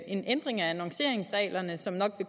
en ændring af annonceringsreglerne som nok